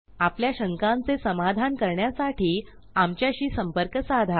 आपल्या शंकांचे समाधान करण्यासाठी आमच्याशी संपर्क साधा